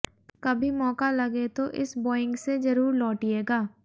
कभी मौका लगे तो इस बोइंग से जरुर लौटियेगा